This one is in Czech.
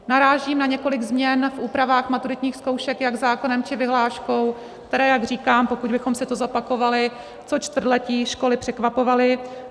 Narážím na několik změn v úpravách maturitních zkoušek jak zákonem, či vyhláškou, které - jak říkám, pokud bychom si to zopakovali - co čtvrtletí školy překvapovaly.